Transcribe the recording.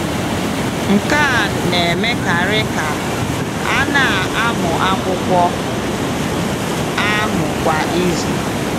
Nke a na-emekarị ka a na-amụ akwụkwọ ahụ kwa izu.